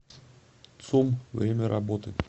цум время работы